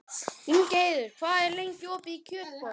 Ingheiður, hvað er lengi opið í Kjötborg?